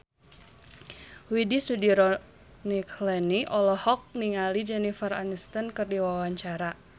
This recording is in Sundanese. Widy Soediro Nichlany olohok ningali Jennifer Aniston keur diwawancara